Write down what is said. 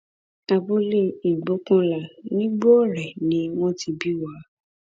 abúlé ìgbókùnlá nigbore ni wọn ti bí wa